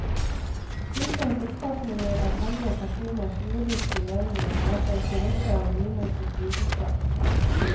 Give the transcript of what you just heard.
Kirkens oppfatninger av hellige personers jordiske levninger lar seg ikke rokke av nymotens vitenskap.